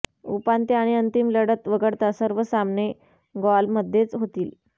उपांत्य आणि अंतिम लढत वगळता सर्व सामने गॉलमध्येच होतील